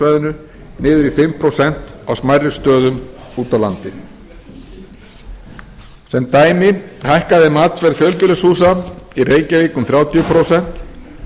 niður í fimm prósent á smærri stöðum úti á landi sem dæmi hækkaði matsverð fjölbýlishúsa í reykjavík um þrjátíu prósent